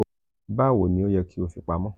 bawo ni o yẹ ki o fi pamo?